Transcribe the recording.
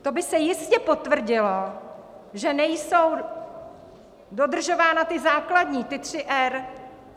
To by se jistě potvrdilo, že nejsou dodržována ta základní, ta tři R.